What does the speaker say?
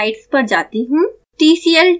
अब मैं स्लाइड्स पर जाती हूँ